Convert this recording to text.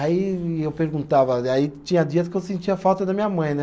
Aí eu perguntava, aí tinha dias que eu sentia falta da minha mãe, né?